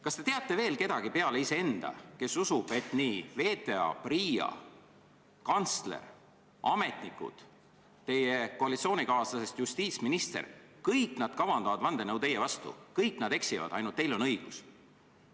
Kas te teate veel kedagi peale iseenda, kes usub, et VTA, PRIA, kantsler, ametnikud, teie koalitsioonikaaslasest justiitsminister – kõik nad kavandavad vandenõu teie vastu, kõik nad eksivad, ainult teil on õigus?